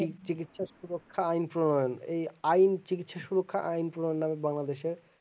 চিকিৎসা সুরক্ষা অঞ্চল এই আয়ু চিকিৎসা সুরক্ষা নাই বাংলাদেশের